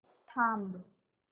थांब